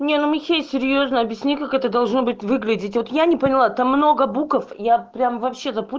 у меня на мечей серьёзно объяснить как это должно быть выглядеть вот я не поняла там много буков я прям вообще то